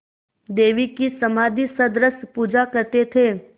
देवी की समाधिसदृश पूजा करते थे